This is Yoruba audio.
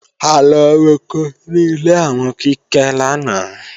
A lọ roko ní ilé àwọn Kíkẹ́ lánàá